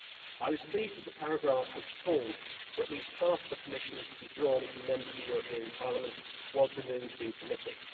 I was pleased that the paragraph which called for at least half of the Commissioners to be drawn from Members of the European Parliament was removed in committee.